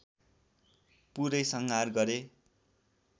पुरै संहार गरे